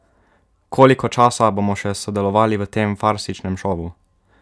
Koliko časa bomo še sodelovali v tem farsičnem šovu?